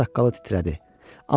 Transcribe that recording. Şəvə saqqalı titrədi.